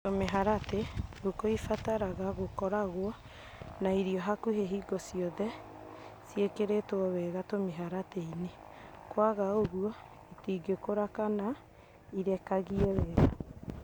Tũmĩharatĩ: Ngũkũ ibataraga gũkoragwo na irio hakuhĩ hingo ciothe ciĩkĩrĩtwo wega tũmĩharatĩ -inĩ, kwaga ũguo itingĩkũra kana irekagie wega.